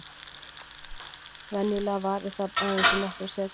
Venjulega varir það aðeins í nokkrar sekúndur.